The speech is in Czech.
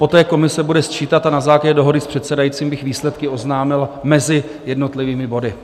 Poté komise bude sčítat a na základě dohody s předsedajícím bych výsledky oznámil mezi jednotlivými body.